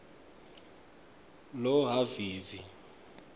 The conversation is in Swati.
lohhavivi